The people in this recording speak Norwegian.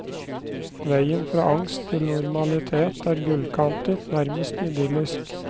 Veien fra angst til normalitet er gullkantet, nærmest idyllisk.